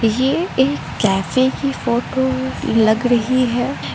ये एक कैफे की फोटो लग रही है।